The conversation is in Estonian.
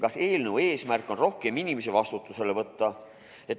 Kas eelnõu eesmärk on rohkem inimesi vastutusele võtta?